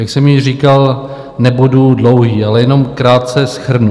Jak jsem již říkal, nebudu dlouhý, ale jenom krátce shrnu.